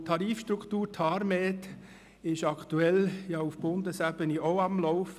Zudem ist die Tarifstruktur TARMED aktuell auch auf Bundesebene am Laufen.